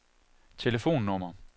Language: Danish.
telefonnummer